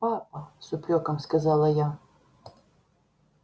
папа с упрёком сказала я